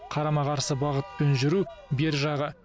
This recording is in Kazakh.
қарама қарсы бағытпен жүру бер жағы